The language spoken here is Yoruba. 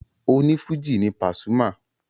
Onífújì ni Pasuma.